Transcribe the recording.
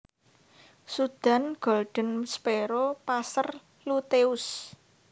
Sudan Golden Sparrow Passer luteus